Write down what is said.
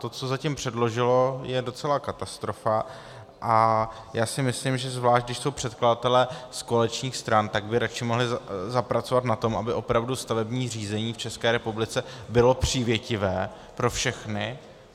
To, co zatím předložilo, je docela katastrofa, a já si myslím, že zvlášť když jsou předkladatelé z koaličních stran, tak by radši mohli zapracovat na tom, aby opravdu stavební řízení v České republice bylo přívětivé pro všechny.